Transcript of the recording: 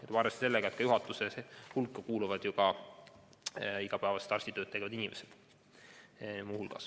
Tuleb arvestada sellega, et juhatuse hulka kuuluvad muu hulgas ka igapäevast arstitööd tegevad inimesed.